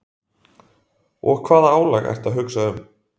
Og hvaða álag ertu að hugsa um?